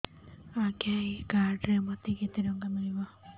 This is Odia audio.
ଆଜ୍ଞା ଏଇ କାର୍ଡ ରେ ମୋତେ କେତେ ଟଙ୍କା ମିଳିବ